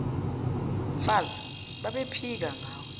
mfazi babephika njengawe